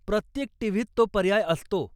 प्रत्येक टीव्हीत तो पर्याय असतो.